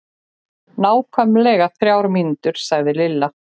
Nákvæmlega þrjár mínútur sagði Lilla.